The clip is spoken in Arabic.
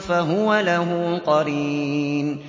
فَهُوَ لَهُ قَرِينٌ